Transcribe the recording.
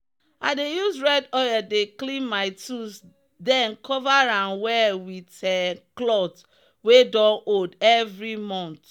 i dey use red oil dey clean my tools then cover am well with um cloth wey don old every month.